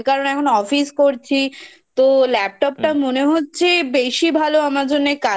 কারণ এখন অফিস করছি তো Laptop টা মনে হচ্ছে বেশি ভালো আমার জন্য